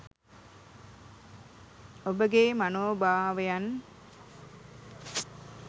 ඔබගේ මනෝභාවයන්